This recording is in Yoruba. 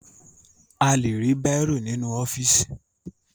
A lè rí bàírò nínú ọ́fíìsì